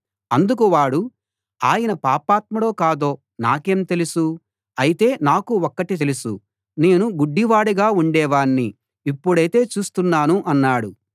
అందుకు వాడు ఆయన పాపాత్ముడో కాదో నాకేం తెలుసు అయితే నాకు ఒక్కటి తెలుసు నేను గుడ్డివాడుగా ఉండేవాణ్ణి ఇప్పుడైతే చూస్తున్నాను అన్నాడు